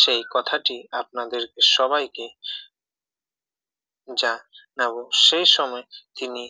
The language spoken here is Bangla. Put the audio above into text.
সেই কথাটি আপনাদেরকে সবাইকে জানাবো সেই সময় উনি